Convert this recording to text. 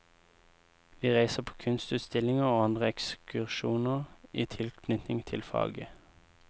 Vi reiser på kunstutstillinger og andre ekskursjoner i tilknytning til faget.